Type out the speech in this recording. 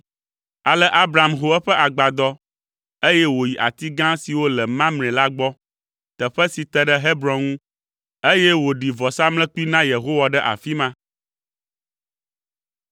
Ale Abram ho eƒe agbadɔ, eye wòyi ati gã siwo le Mamre la gbɔ, teƒe si te ɖe Hebron ŋu, eye wòɖi vɔsamlekpui na Yehowa ɖe afi ma.